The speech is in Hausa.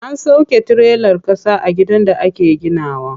An sauƙe tirelar ƙasa a gidan da ake gina wa.